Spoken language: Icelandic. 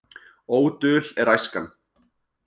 Ódul er æskan.